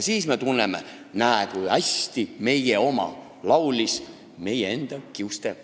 Siis me tunneme, et näe, kui hästi – meie oma laulis meie kiuste.